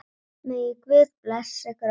Megi Guð blessa ykkur öll.